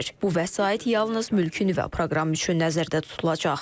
Bu vəsait yalnız mülkü nüvə proqramı üçün nəzərdə tutulacaq.